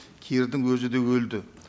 кирдың өзі де өлді